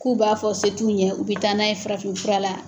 K'u b'a fɔ se t'u ɲɛ u bɛ taa n'a ye farafin fura la